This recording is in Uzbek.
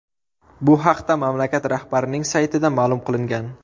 Bu haqda mamlakat rahbarining saytida ma’lum qilingan .